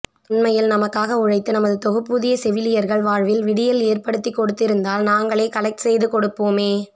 உண்மையில் நமக்காக உழைத்து நமது தொகுப்பூதிய செவிலியர்கள் வாழ்வில் விடியல் ஏற்படுத்தி கொடுத்து இருந்தால் நாங்களே கலெக்ட் செய்து கொடுப்போமே